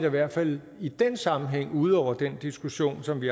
i hvert fald i den sammenhæng ude over den diskussion som vi